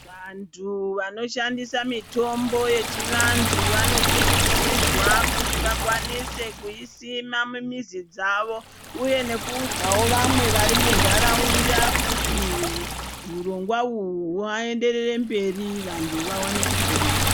Vandu vanoshandisa mitombo yechi vandu vanokurudzirwa kuti vakwanise kuyi sima mu mizi dzavo uye nekuudzawo vamwe vari mundaraunda kuti hurongwa uhu hwaenderere mberi vandu vawane kupona.